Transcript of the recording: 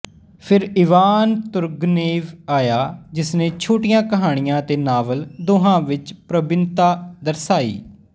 ਫਿਰ Ivan Turgenev ਆਇਆ ਜਿਸਨੇ ਛੋਟੀਆਂ ਕਹਾਣੀਆਂ ਅਤੇ ਨਾਵਲ ਦੋਹਾਂ ਵਿੱਚ ਪ੍ਰਬੀਨਤਾ ਦਰਸਾਈ